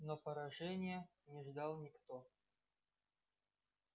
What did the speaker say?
но поражения не ждал никто